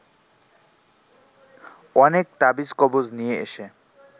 অনেক তাবিজ কবজ নিয়ে এসে